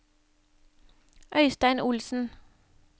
Øistein Olsen